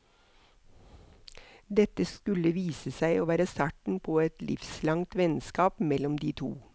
Dette skulle vise seg å være starten på et livslangt vennskap mellom de to.